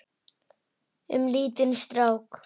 Um lítinn strák.